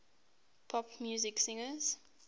pop music singers